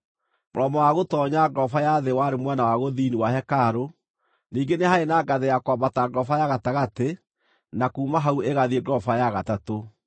Mũromo wa gũtoonya ngoroba ya thĩ warĩ mwena wa gũthini wa hekarũ; ningĩ nĩ haarĩ na ngathĩ ya kwambata ngoroba ya gatagatĩ na kuuma hau ĩgathiĩ ngoroba ya gatatũ.